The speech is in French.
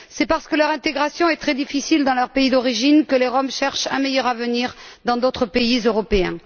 C'est parce que leur intégration est très difficile dans leur pays d'origine que les Roms cherchent un meilleur avenir dans d'autres pays européens.